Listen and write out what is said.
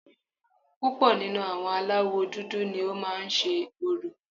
Púpọ̀ nínú àwọn aláwọ̀ dúdú ni ó má ń se orò